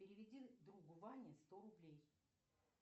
переведи другу ване сто рублей